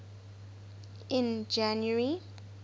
in january